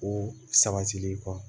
Ko sabatilen kɔ